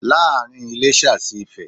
Láàárín Iléṣà sí ifè